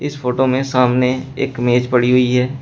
इस फोटो में सामने एक मेज पड़ी हुई है।